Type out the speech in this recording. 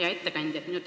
Hea ettekandja!